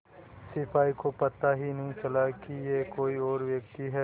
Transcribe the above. सिपाही को पता ही नहीं चला कि यह कोई और व्यक्ति है